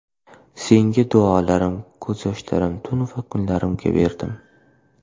Senga duolarim, ko‘z yoshlarim, tun va kunlarimni berdim.